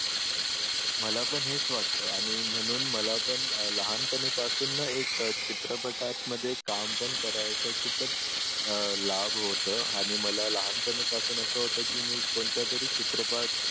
मला पण हेच वाटत आणि म्हणून मला पण लहानपणी पासून एकचित्रपटात मध्ये काम पण करायचं खूपच अह लाभ होत मला लहानपणी पासून असं होतं की मी कोणत्यातरी चित्रपटात